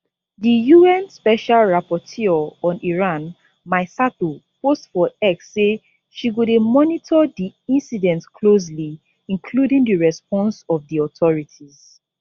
di un special rapporteur on iran mai sato post for x say she go dey monitor di incident closely including di response of di authorities